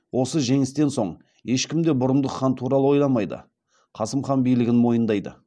осы жеңістен соң ешкім де бұрындық хан туралы ойламай қасым хан билігін мойындайды